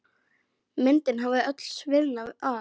Myndin hafði öll sviðnað af.